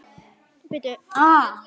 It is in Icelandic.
Það er enginn heima.